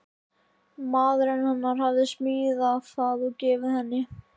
Maðurinn hennar hafði smíðað það og gefið henni.